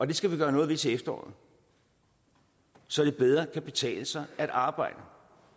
det skal vi gøre noget ved til efteråret så det bedre kan betale sig at arbejde